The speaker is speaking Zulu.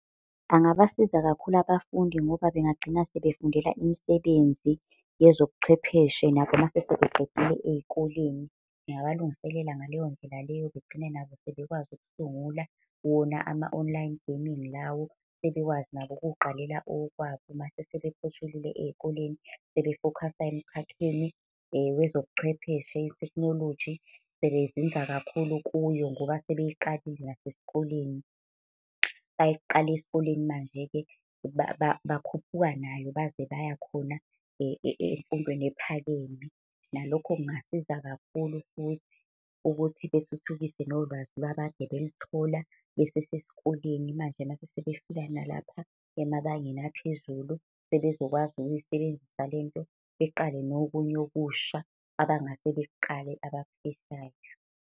Angabasiza kakhulu abafundi ngoba bengagcina sebefundela imisebenzi yezobuchwepheshe nabo uma sebeqedile ey'koleni. Ngingabalungiselela ngaleyo ndlela leyo begcine nabo sebekwazi ukusungula wona ama-online gaming lawo. Sebekwazi nabo ukuyiqalela okwabo uma sebephothulile ey'koleni, sebefokhasa emkhakheni wezobuchwepheshe i-technology, sebezinza kakhulu kuyo ngoba sebey'qalile nasesikoleni. Bayiqala esikoleni manje-ke bakhuphuka nayo baze bayakhona emfundweni ephakeme. Nalokho kungasiza kakhulu futhi, ukuthi bethuthukise nolwazi lwabo ade belithola besesesikoleni. Manje mase sebefika nalapha emabangeni aphezulu sebezokwazi nokuyisebenzisa lento, beqale nokunye okusha abangase bekuqale abakufisayo.